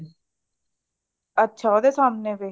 ਅੱਛਾ ਉਹਦੇ ਸਾਹਮਣੇ ਵੇ